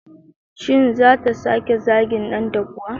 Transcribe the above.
Shin zata sake zagin danta kuwa?